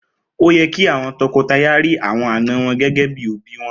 Oye ki àwọn tọkọtaya ri àwọn àna wọn gégé bíi òbí wọn